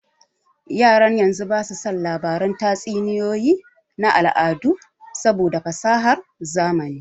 Yaran yanzu ba su son labaran tatsuniyoyi na al'adu saboda fasahar zamani